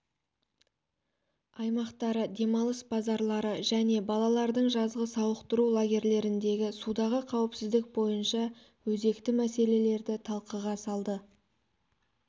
аймақтары демалыс базалары және балалардың жазғы сауықтыру лагерлеріндегі судағы қауіпсіздік бойынша өзекті мәселелерді талқыға салды